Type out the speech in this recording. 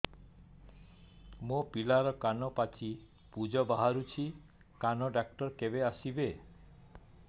ମୋ ପିଲାର କାନ ପାଚି ପୂଜ ବାହାରୁଚି କାନ ଡକ୍ଟର କେବେ ଆସିବେ